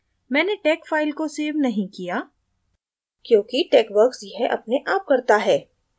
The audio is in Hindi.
मैंने tex file को सेव नहीं किया क्योंकि texworks यह अपने आप करता है